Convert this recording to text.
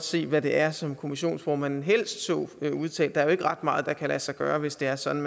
se hvad det er som kommissionsformanden helst så udtaget der er jo ikke ret meget der kan lade sig gøre hvis det er sådan